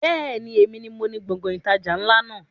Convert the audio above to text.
Bẹ́ẹ̀ni, èmi ni moní Gbọ̀ngán ìtajà ńlá náà